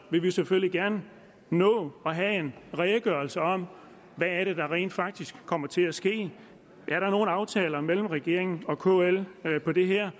vil vi selvfølgelig gerne nå at have en redegørelse om hvad der rent faktisk kommer til at ske er der nogen aftaler mellem regeringen og kl på det her